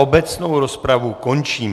Obecnou rozpravu končím.